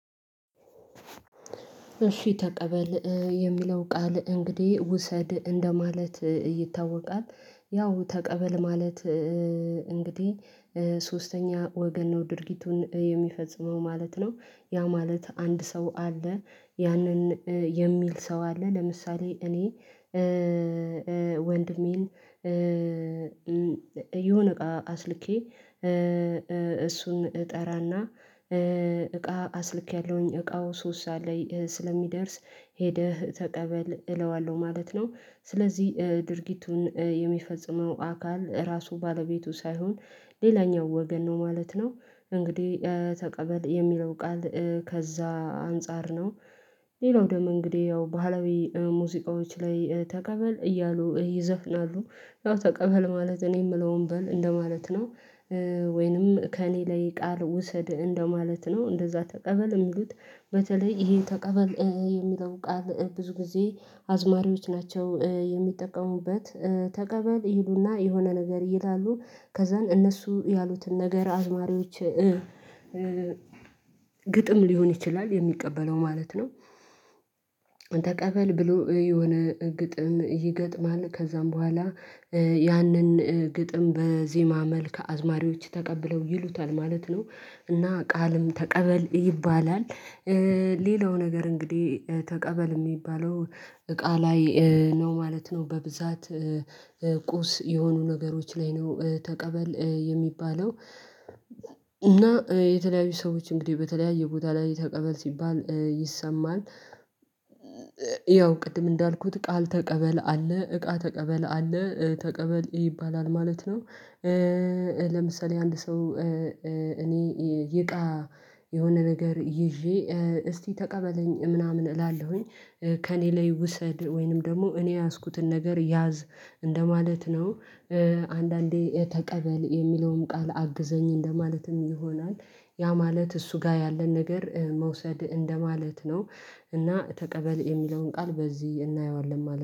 እሺ ተቀበል የሚለው ቃል እንግዲህ ውሰድ እንደማለት ይታወቃል ያው ተቀበል ማለት። እንግዲህ ሶስተኛ ወገን ነው ድርጊቱን የሚፈጽመው ማለት ነው። ያ ማለት አንድ ሰው አለ ያንን የሚል ሰው አለ ለምሳሌ እኔ ወንድሜን የሆነ እቃ አስልኬ እሱን እጠራና እቃ አስልኬያለሁኝ እቃው ሶስት ሰዓት ላይ ስለሚደርስ ሄደህ ተቀበል እለዋለሁ ማለት ነው። ስለዚህ ድርጊቱን የሚፈጽመው አካል ራሱ ባለቤቱ ሳይሆን ሌላኛው ወገን ነው ማለት ነው። እንግዲህ ተቀበል የሚለው ቃል ከዛ አንፃር ነው። ሌላው ደም እንግዲህ ያው ባህላዊ ሙዚቃዎች ላይ ተቀበል እያሉ ይዘፍናሉ ያው ተቀበል ማለት እኔ የምለውን በል እንደማለት ነው። ወይንም ከእኔ ላይ ቃል ውሰድ እንደማለት ነው እንደዛ ተቀበል የሚሉት። በተለይ ይሄ ተቀበል የሚለው ቃል ብዙ ጊዜ አዝማሪዎች ናቸው የሚጠቀሙበት። ተቀበል ይሉና የሆነ ነገር ይላሉ ከዛን እነሱ ያሉትን ነገር አዝማሪዎች ግጥም ሊሆን ይችላል የሚቀበለው ማለት ነው። ተቀበል ብሎ የሆነ ግጥም ይገጥማል ከዛም በኋላ ያንን ግጥም በዜማ መልክ አዝማሪዎች ተቀብለው ይሉታል ማለት ነው። እና ቃልም ተቀበል ይባላል። ሌላው ነገር እንግዲህ ተቀበል ሚባለው እቃ ላይ ነው ማለት ነው በብዛት ቁስ የሆኑ ነገሮች ላይ ነው ተቀበል የሚባለው። እና የተለያዩ ሰዎች እንግዲህ በተለያየ ቦታ ላይ ተቀበል ሲባል ይሰማል። ያው ቅድም እንዳልኩት ቃል ተቀበል አለ እቃ ተቀበል አለ ተቀበል ይባላል ማለት ነው። ለምሳሌ አንድ ሰው እኔ ይቃ የሆነ ነገር ይዤ እስቲ ተቀበለኝ ምናምን እላለሁኝ ከእኔ ላይ ውሰድ ወይንም ደግሞ እኔ የያዝኩትን ነገር ያዝ እንደማለት ነው። አንዳንዴ ተቀበል የሚለውም ቃል አግዘኝ እንደማለትም ይሆናል ያ ማለት እሱ ጋር ያለን ነገር መውሰድ እንደማለት ነው። እና ተቀበል የሚለውን ቃል በዚህ እናየዋለን